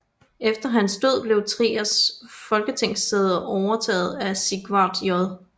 Efter hans død blev Triers folketingssæde overtaget af Sigvard J